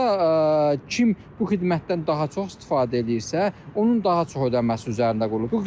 və burda kim bu xidmətdən daha çox istifadə eləyirsə, onun daha çox ödəməsi üzərində qurulub.